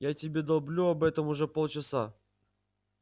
я тебе долблю об этом уже полчаса